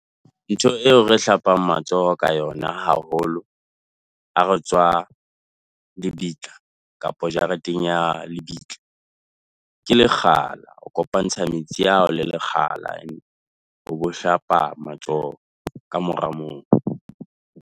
Ntho eo re hlapang matsoho ka yona haholo ha re tswa lebitla kapa jareteng ya lebitla ke lekgala. O kopantsha metsi ao le lekgala o bo hlapa matsoho. Ka mora moo .